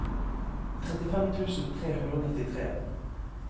trettifem tusen tre hundre og nittitre